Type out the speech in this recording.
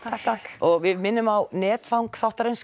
og við minnum á netfang þáttarins